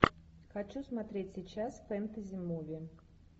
хочу смотреть сейчас фэнтези муви